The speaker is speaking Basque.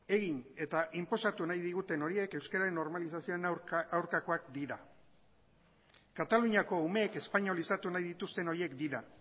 egin eta inposatu nahi diguten horiek euskeraren normalizazioaren aurkakoak dira kataluniako umeak espainolizatu nahi dituzten horiek dira